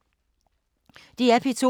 DR P2